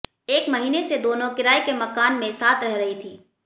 एक महीने से दोनों किराए के मकान में साथ रह रही थीं